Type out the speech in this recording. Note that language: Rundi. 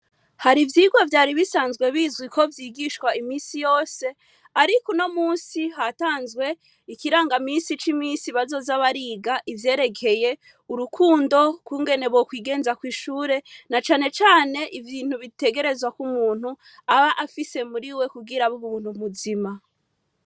Hari ivyigwa vyari bisanzwe bizwi ko vyigishwa imisi yose ariko uno musi hatanzwe ikiranga misi c'imisi bazoza bariga ivyerekeye urukundo, ukungene bokwigenza kw'ishure, na canecane ibintu bitegerezwa ko umuntu aba afise muri we kugira abe umuntu muzima.